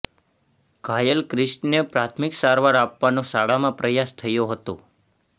ઘાયલ ક્રિશને પ્રાથમિક સારવાર આપવાનો શાળામાં પ્રયાસ થયો હતો